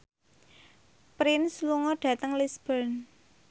Prince lunga dhateng Lisburn